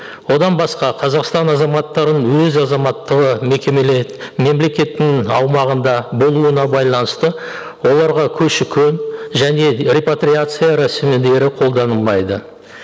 одан басқа қазақстан азаматтарын өз азаматтығы мемлекеттің аумағында болуына байланысты оларға көші көн және репатриация рәсімдері қолданылмайды